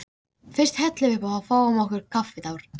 Fyrst hellum við uppá og fáum okkur kaffitár.